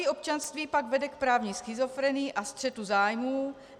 Dvojí občanství pak vede k právní schizofrenii a střetu zájmů.